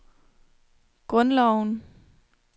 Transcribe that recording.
grundloven